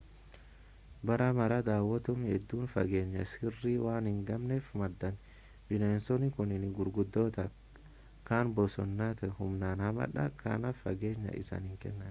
bara mara daawwattoonni hedduun fageenya sirrii waan hin eegganneef madaa'an bineensonni kunneen gurguddoodha kan bosonaati humnaan hamaadha kanaaf fageenya isaanii kennaafii